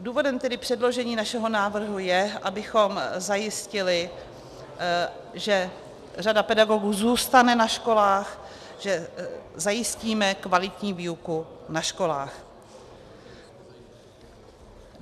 Důvodem tedy předložení našeho návrhu je, abychom zajistili, že řada pedagogů zůstane na školách, že zajistíme kvalitní výuku na školách.